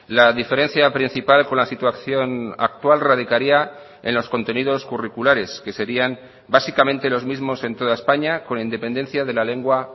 la diferencia principal con la situación actual radicaría en los contenidos curriculares que serían básicamente los mismos en toda españa con independencia de la lengua